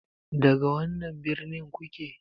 Daga wannan birnin kuke?